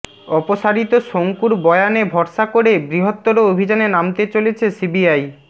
অপসারিত শঙ্কুর বয়ানে ভরসা করে বৃহত্তর অভিযানে নামতে চলেছে সিবিআই